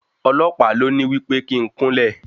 Ọlọ̀pàá ló ní wí pé kí n kúnlẹ̀.